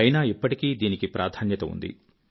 ఐనా ఇప్పటికీ దీని ప్రాధాన్యత ఉంది